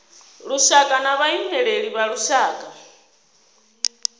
lushaka na vhaimeleli vha lushaka